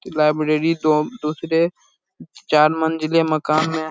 Library दो दुसरे चार मंजिले मकान में है।